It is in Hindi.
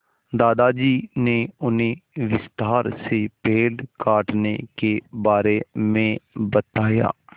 दादाजी ने उन्हें विस्तार से पेड़ काटने के बारे में बताया